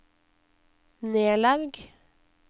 Nelaug